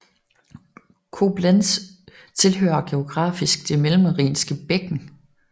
Koblenz tilhører geografisk Det mellemrhinske bækken